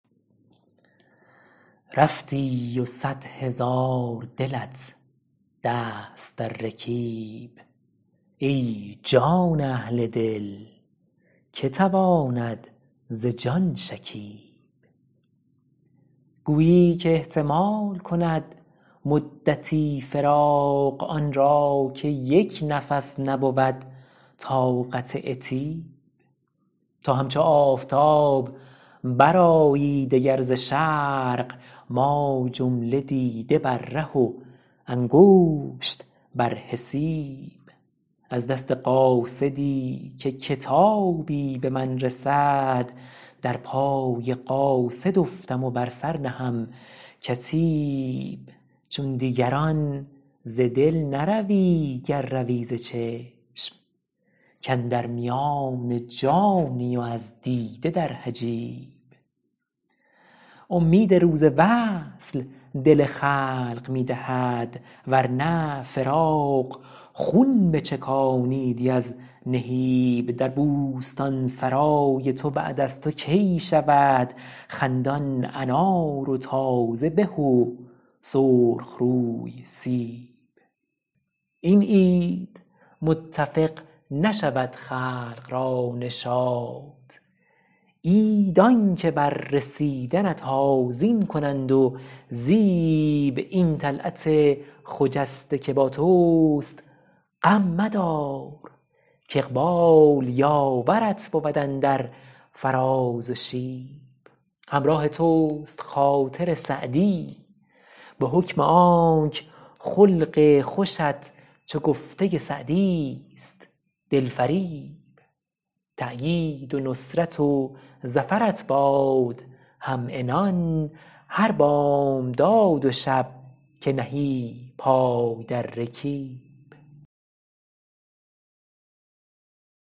رفتی و صدهزار دلت دست در رکیب ای جان اهل دل که تواند ز جان شکیب گویی که احتمال کند مدتی فراق آن را که یک نفس نبود طاقت عتیب تا همچو آفتاب برآیی دگر ز شرق ما جمله دیده بر ره و انگشت بر حسیب از دست قاصدی که کتابی به من رسد در پای قاصد افتم و بر سر نهم کتیب چون دیگران ز دل نروی گر روی ز چشم کاندر میان جانی و از دیده در حجیب امید روز وصل دل خلق می دهد ورنه فراق خون بچکانیدی از نهیب در بوستانسرای تو بعد از تو کی شود خندان انار و تازه به و سرخ روی سیب این عید متفق نشود خلق را نشاط عید آنکه بر رسیدنت آذین کنند و زیب این طلعت خجسته که با توست غم مدار کاقبال یاورت بود اندر فراز و شیب همراه توست خاطر سعدی به حکم آنک خلق خوشت چو گفته سعدیست دلفریب تأیید و نصرت و ظفرت باد همعنان هر بامداد و شب که نهی پای در رکیب